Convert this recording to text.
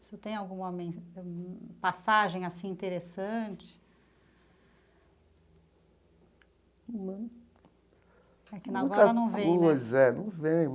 Você tem alguma mens passagem assim interessante? É que agora não vem né. Muita coisa é. Não vem.